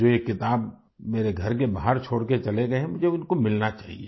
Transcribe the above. जो ये किताब मेरे घर के बाहर छोड़ के चले गए है मुझे उनको मिलना चाहिए